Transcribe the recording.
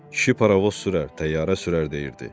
Kişi paravoz sürər, təyyarə sürər deyirdi.